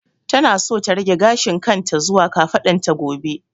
Tana so ta rage gashin kan ta zuwa kafadan ta gobe